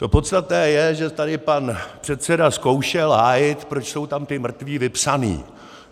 To podstatné je, že tady pan předseda zkoušel hájit, proč jsou tam ti mrtví vypsaní.